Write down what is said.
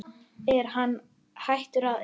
Er hann hættur að eyða?